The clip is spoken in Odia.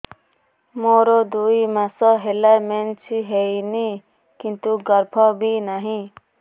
ମୋର ଦୁଇ ମାସ ହେଲା ମେନ୍ସ ହେଇନି କିନ୍ତୁ ଗର୍ଭ ବି ନାହିଁ